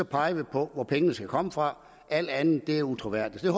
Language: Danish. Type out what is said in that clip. pege på hvor pengene skal komme fra alt andet er utroværdigt så